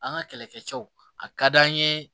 An ka kɛlɛkɛcɛw a ka d'an ye